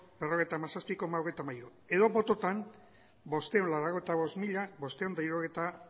berrogeita hamazazpi koma hogeita hamairu edo bototan bostehun eta laurogeita bost mila bostehun eta hirurogeita